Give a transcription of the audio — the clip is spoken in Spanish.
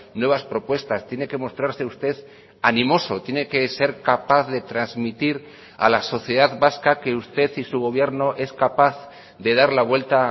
nuevas propuestas tiene que mostrarse usted animoso tiene que ser capaz de transmitir a la sociedad vasca que usted y su gobierno es capaz de dar la vuelta